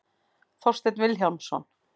Þorsteinn Vilhjálmsson.